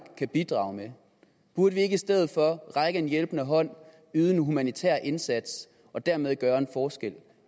kan bidrage med burde vi ikke i stedet for række en hjælpende hånd yde en humanitær indsats og dermed gøre en forskel